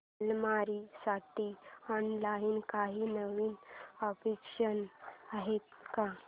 अलमारी साठी ऑनलाइन काही नवीन ऑप्शन्स आहेत का